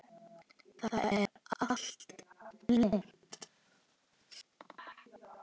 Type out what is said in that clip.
Það er allt blint.